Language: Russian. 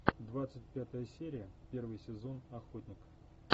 двадцать пятая серия первый сезон охотник